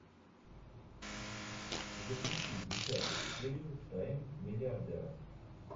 запусти десятую серию тайн миллиардера